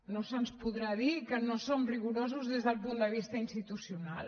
no se’ns podrà dir que no som rigorosos des del punt de vista institucional